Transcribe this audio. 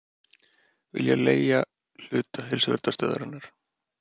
Vilja leigja hluta Heilsuverndarstöðvarinnar